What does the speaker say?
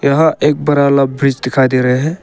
यहां एक बड़ा वाला ब्रिज दिखा दे रहे है।